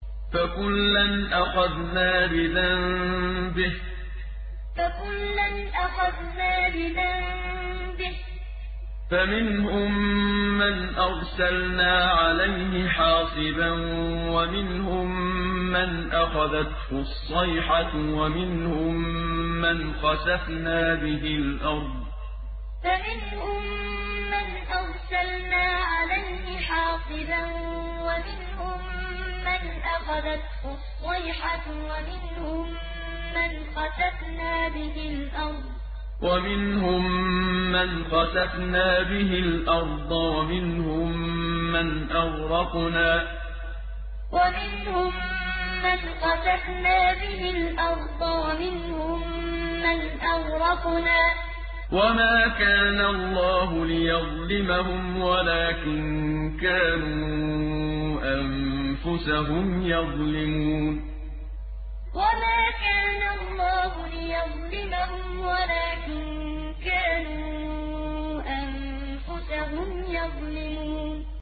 فَكُلًّا أَخَذْنَا بِذَنبِهِ ۖ فَمِنْهُم مَّنْ أَرْسَلْنَا عَلَيْهِ حَاصِبًا وَمِنْهُم مَّنْ أَخَذَتْهُ الصَّيْحَةُ وَمِنْهُم مَّنْ خَسَفْنَا بِهِ الْأَرْضَ وَمِنْهُم مَّنْ أَغْرَقْنَا ۚ وَمَا كَانَ اللَّهُ لِيَظْلِمَهُمْ وَلَٰكِن كَانُوا أَنفُسَهُمْ يَظْلِمُونَ فَكُلًّا أَخَذْنَا بِذَنبِهِ ۖ فَمِنْهُم مَّنْ أَرْسَلْنَا عَلَيْهِ حَاصِبًا وَمِنْهُم مَّنْ أَخَذَتْهُ الصَّيْحَةُ وَمِنْهُم مَّنْ خَسَفْنَا بِهِ الْأَرْضَ وَمِنْهُم مَّنْ أَغْرَقْنَا ۚ وَمَا كَانَ اللَّهُ لِيَظْلِمَهُمْ وَلَٰكِن كَانُوا أَنفُسَهُمْ يَظْلِمُونَ